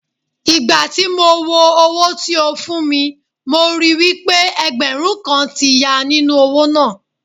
Ìgbà tí mo wo owó tí ó fún mi mo ríi wí pé ẹgbẹ̀rún kan ti ya nínú owó náà.